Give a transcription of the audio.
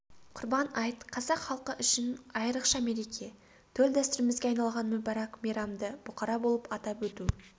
құрбан айт қазақ халқы үшін айрықша мереке төл дәстүрімізге айналған мүбәрак мейрамды бұқара болып атап өту